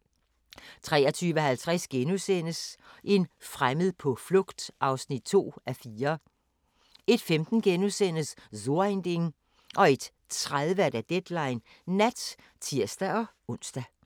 23:50: En fremmed på flugt (2:4)* 01:15: So ein Ding * 01:30: Deadline Nat (tir-ons)